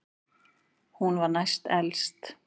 Hún var næst elst.